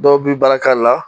Dɔw bi baara k'a la